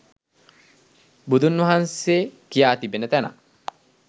බුදුන් වහන්සේ කියා තිබෙන තැනක්